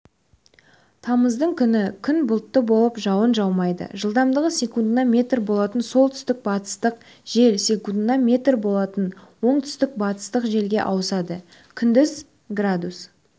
тамыздың күні күн бұлтты болып жауын жаумайды жылдамдығы секундына метр болатын солтүстік-батыстық жел секундына метр болатын оңтүстік-батыстық желге ауысады күндіз градус